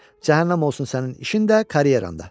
Cəhənnəm olsun sənin işin də, karyeran da.